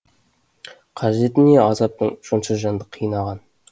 қажеті не азаптың сонша жанды қинаған